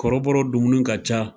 Kɔrɔbɔrɔ dumuni ka ca